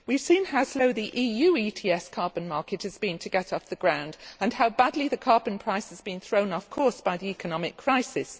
We have seen how slow the EU ETS carbon market has been to get off the ground and how badly the carbon price has been thrown off course by the economic crisis.